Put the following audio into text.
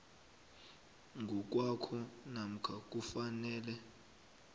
ngokwakho namkha kufanele